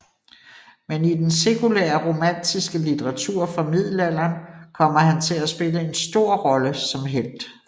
Men i den sekulære romantiske litteratur fra middelalderen kommer han til at spille en stor rolle som helt